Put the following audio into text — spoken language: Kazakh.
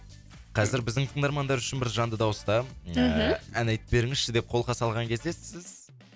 қазір біздің тыңдармандар үшін бір жанды дауыста мхм ііі ән айтып беріңізші деп қолқа салған кезде сіз